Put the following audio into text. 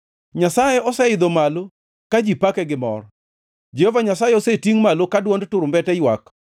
Nyasaye oseidho malo ka ji pake gi mor. Jehova Nyasaye osetingʼ malo ka dwond turumbete ywak.